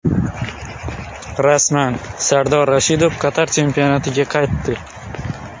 Rasman: Sardor Rashidov Qatar chempionatiga qaytdi.